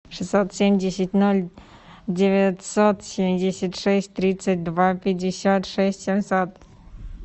шестьсот семьдесят ноль девятьсот семьдесят шесть тридцать два пятьдесят шесть семьсот